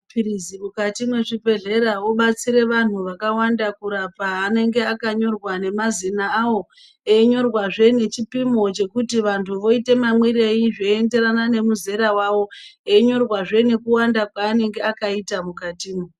Mapirisi mukati mezvibhedleya odetsera vanhu vakawanda kurapa anenge akanyorwa nemazina awo eyinyorwa zve ngechipimo chekuti vanhu voite mamwire eyi zvienderana nemazera avo, eyinyorwa zve nekuwanda kwawoaanenge akaita mukati.